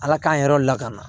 Ala k'an yɛrɛw lakana